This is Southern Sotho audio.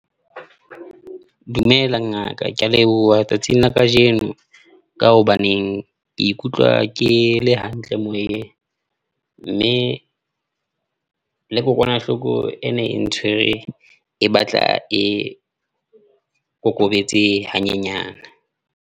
Dumela Ngaka, ke a leboha tsatsing la kajeno, ka hobaneng ke ikutlwa ke le hantle moyeng mme, le kokwanahloko ene e ntshwere e batla e kokobetse hanyenyane.